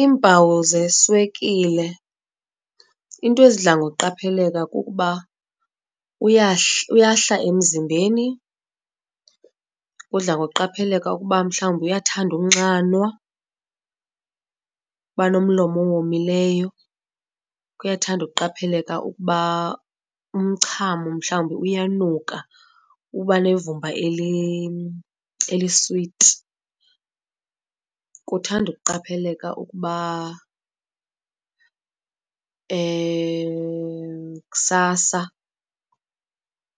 Iimpawu zeswekile iinto ezidla ngokuqapheleka kukuba uyahla emzimbeni. Kudla ngokuqapheleka ukuba mhlawumbi uyathanda unxanwa, kuba nomlomo owomileyo. Kuyathanda ukuqapheleka ukuba umchamo mhlawumbi uyanuka uba nevumba eliswiti. Kuthande ukuqapheleka ukuba kusasa